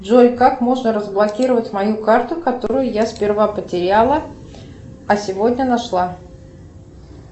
джой как можно разблокировать мою карту которую я сперва потеряла а сегодня нашла